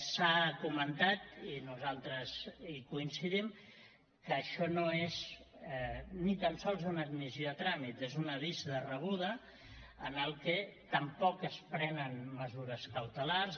s’ha comentat i nosaltres hi coincidim que això no és ni tan sols una admissió a tràmit és un avís de rebuda en el que tampoc es prenen mesures cautelars